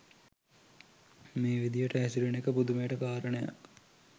මේ විදිහට හැසිරෙන එක පුදුමයට කාරණයක්.